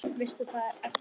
Veist að það ertu ekki.